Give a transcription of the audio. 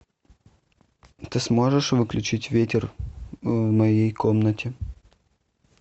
ты сможешь выключить ветер в моей комнате